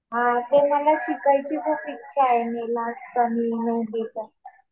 हा ते मला शिकायची खूप इच्छा आहे नेल आर्ट आणि हे ते पण.